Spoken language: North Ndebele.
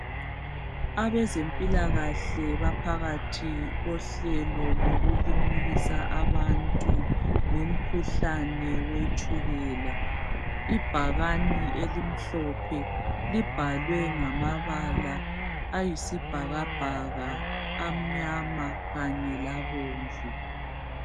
Abezempilakahle baphakathi kohlelo lokulimukisa abantu ngumkhuhlane wetshukela. Ibhakane elimhlophe libhalwe ngamabala amnyama kanye labomvu.